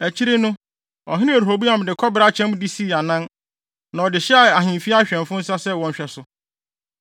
Akyiri no, ɔhene Rehoboam de kɔbere akyɛm de sii anan, na ɔde hyɛɛ ahemfi awɛmfo nsa sɛ wɔnhwɛ so.